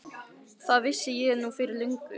Það vissi ég nú fyrir löngu.